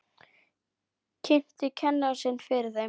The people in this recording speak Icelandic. Kynnti kennara sinn fyrir þeim.